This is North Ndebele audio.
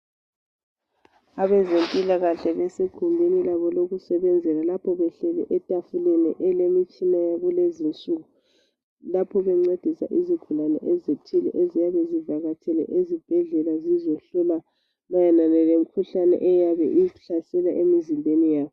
Abezempilakahle, besegumbini labo lokusebenzela. Lapho behleli etafuleni, elilemitshina yakulezi insuku. Lapho bencedisa lezigulane ezithile, eziyabe zivakatshele esibhedlela, zizehlolwa mayelana lemikhuhlane, eyabe izihlasela emizimbeni yazo,